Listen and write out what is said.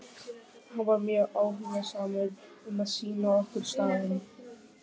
Hann var mjög áhugasamur um að sýna okkur staðinn.